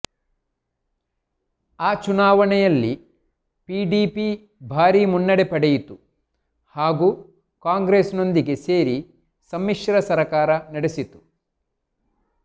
ಆ ಚುನಾವಣೆಯಲ್ಲಿ ಪಿಡಿಪಿ ಭಾರೀ ಮುನ್ನಡೆ ಪಡೆಯಿತು ಹಾಗೂ ಕಾಂಗ್ರೆಸ್ನೊಂದಿಗೆ ಸೇರಿ ಸಮ್ಮಿಶ್ರ ಸರಕಾರ ನಡೆಸಿತು